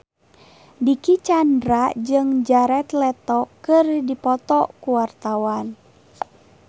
Dicky Chandra jeung Jared Leto keur dipoto ku wartawan